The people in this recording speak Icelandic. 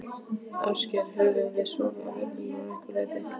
Ásgeir: Höfum við sofið á verðinum að einhverju leyti?